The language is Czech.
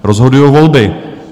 Rozhodují volby.